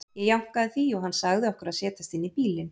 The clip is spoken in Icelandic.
Ég jánkaði því og hann sagði okkur að setjast inn í bílinn.